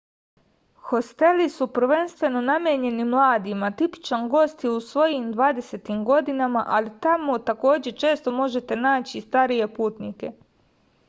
hosteli su prvenstveno namenjeni mladima tipičan gost je u svojim dvadesetim godinama ali tamo takođe često možete naći i starije putnike